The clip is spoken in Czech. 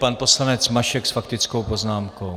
Pan poslanec Mašek s faktickou poznámkou.